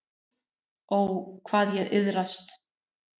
Ó, hvað ég iðraðist.